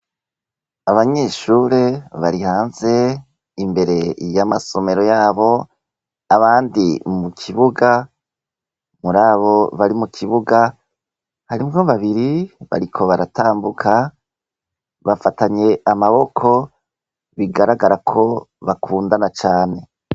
Abanyeshure bari hanze imbere yamasomero yabo, abandi mukibuga. Muri abo bari mukibuga harimwo babiri bariko baratambuka bafatanye amaboko bigaragara ko bakundana cane.